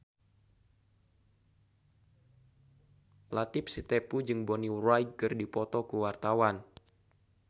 Latief Sitepu jeung Bonnie Wright keur dipoto ku wartawan